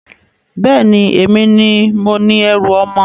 Bẹ́ẹ̀ni, èmi ni mo ni ẹrú ọmọ.